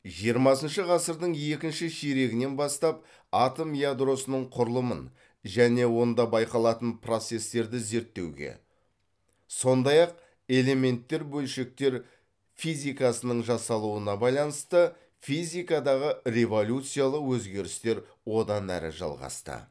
жиырмасыншы ғасырдың екінші ширегінен бастап атом ядросының құрылымын және онда байқалатын процестерді зерттеуге сондай ақ элементтер бөлшектер физикасының жасалуына байланысты физикадағы революциялық өзгерістер одан әрі жалғасты